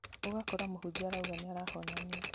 ũgakora mũhunjia arauga nĩarahonania